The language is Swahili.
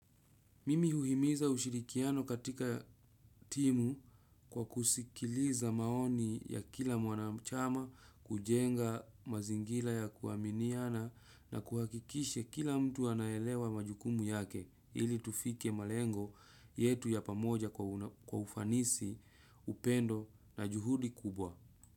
Mimi uhimiza ushirikiano katika timu kwa kusikiliza maoni ya kila mwanachama kujenga mazingila ya kuaminiana na kuhakikisha kila mtu anaelewa majukumu yake ili tufike malengo yetu ya pamoja kwa ufanisi, upendo na juhudi kubwa.